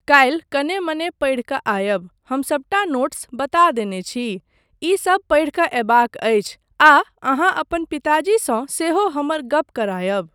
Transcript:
काल्हि कने मने पढ़ि कऽ आयब, हम सबटा नोट्स बता देने छी, ईसब पढ़ि कऽ अयबाक अछि आ अहाँ अपन पिताजीसँ सेहो हमर गप करायब।